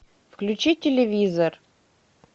включи телевизор